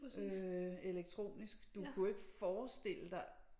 Øh elektronisk du kunne ikke forestille dig